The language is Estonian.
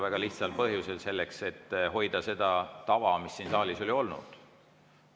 Väga lihtsal põhjusel: selleks, et hoida seda tava, mis siin saalis on olnud.